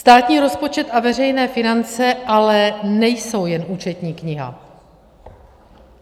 Státní rozpočet a veřejné finance ale nejsou jen účetní kniha.